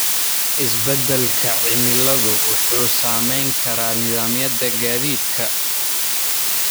Isbedelka cimiladu wuxuu saameyn karaa nidaamyada gaadiidka.